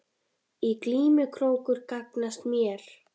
Í glímu krókur gagnast mér.